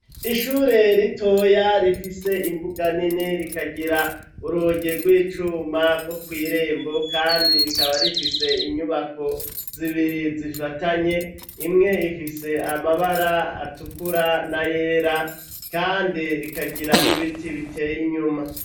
Ishure ritoya rifise imbuga nini rikagira urugi rw'icuma rwo kw'irembo kandi rikaba rifise inyubako zibiri zifatanye imwe ifise amabara atukura n'ayera, kandi rikagira n'ibiti biteye inyuma.